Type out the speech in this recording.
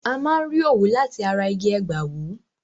A máa n rí òwú láti ara igi ẹ̀gbàwú